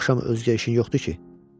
Bu axşam özgə işin yoxdur ki?